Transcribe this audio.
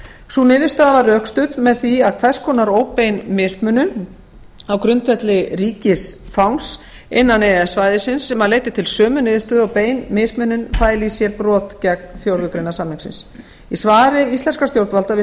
sú niðurstaða var rökstudd með því að hvers konar óbein mismunun á grundvelli ríkisfangs innan e e s svæðisins sem leiddi til sömu niðurstöðu og bein mismunun fæli í sér brot gegn fjórðu grein samningsins í svari íslenskra stjórnvalda við